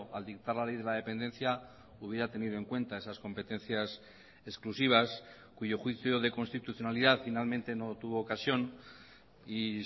al dictar la ley de la dependencia hubiera tenido en cuenta esas competencias exclusivas cuyo juicio de constitucionalidad finalmente no tuvo ocasión y